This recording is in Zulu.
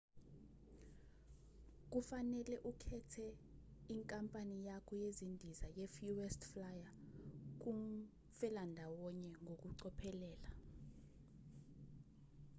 kufanele ukhethe inkampani yakho yezindiza ye-fuest flyer kumfelandawonye ngokucophelela